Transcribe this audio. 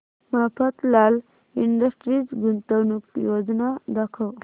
Mafatlal industries गुंतवणूक योजना दाखव